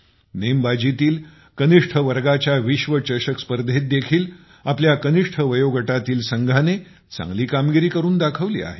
नेमबाजीतील कनिष्ठ वर्गाच्या विश्वचषक स्पर्धेत देखील आपल्या कनिष्ठ वयोगटातील संघाने चांगली कामगिरी करून दाखवली आहे